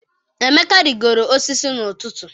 Emeka rigoro osisi n'ụtụtụ.